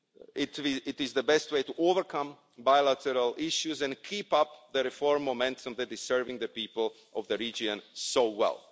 It the best way to overcome bilateral issues and keep up the reform momentum that is serving the people of the region so well.